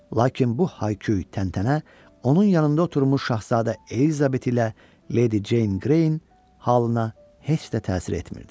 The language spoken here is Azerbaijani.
Lakin bu hay-küy, təntənə onun yanında oturmuş şahzadə Elizabet ilə Leydi Ceyn Qreyn halına heç də təsir etmirdi.